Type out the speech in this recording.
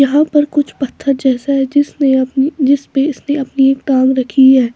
यहाँ पर कुछ पत्थर जैसा है जिसने अपनी जिस पे इसने अपनी एक टांग रखी है।